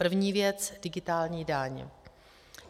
První věc: digitální daň.